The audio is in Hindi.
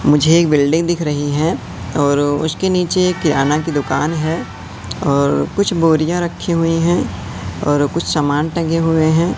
मुझे एक बिल्डिंग दिख रही है और उसके नीचे किराना की दुकान है और कुछ बोरियां रखी हुई है और कुछ सामान टंगे हुए हैं।